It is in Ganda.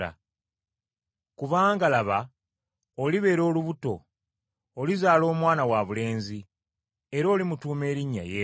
Kubanga, laba, olibeera olubuto, olizaala omwana wabulenzi era olimutuuma erinnya, Yesu.